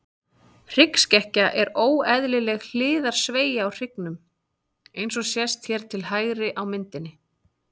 Hryggskekkja er óeðlileg hliðarsveigja á hryggnum, eins og sést hér til hægri á myndinni.